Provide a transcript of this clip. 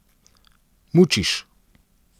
Mučiš.